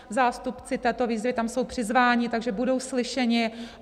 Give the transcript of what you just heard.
Zástupci této výzvy tam jsou přizváni, takže budou slyšeni.